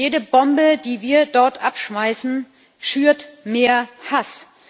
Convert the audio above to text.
Jede Bombe, die wir dort abschmeißen, schürt mehr Hass!